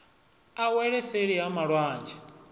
a wele seli ha malwanzhe